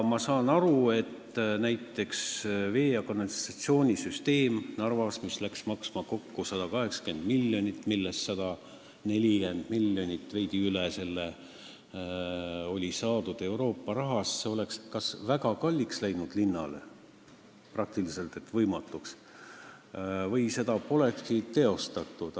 Näiteks, Narva vee- ja kanalisatsioonisüsteem, mis läks maksma kokku 180 miljonit, millest 140 miljonit ja veidi üle selle oli saadud Euroopast, oleks kas linnale läinud väga kalliks, tegelikult võimatult kalliks, või seda polekski teostatud.